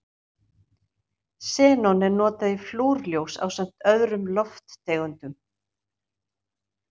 Xenon er notað í flúrljós ásamt öðrum lofttegundum.